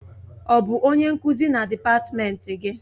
Ọ bụ onye nkuzi na dịpatmenti gị?